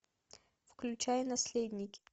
включай наследники